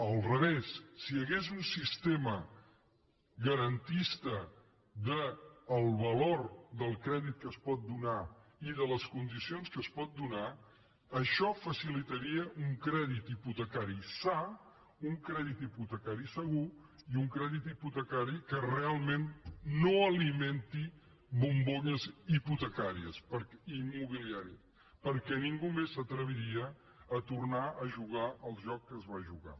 al revés si hi hagués un sistema garantista del valor del crèdit que es pot donar i de les condicions que es poden donar això facilitaria un crèdit hipotecari sa un crèdit hipotecari segur i un crèdit hipotecari que realment no alimenti bombolles immobiliàries perquè ningú més s’atreviria a tornar a jugar al joc que es va jugar